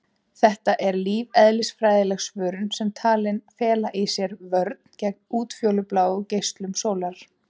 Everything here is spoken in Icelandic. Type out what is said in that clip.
Þetta er lífeðlisfræðileg svörun sem er talin fela í sér vörn gegn útfjólubláum geislum sólar.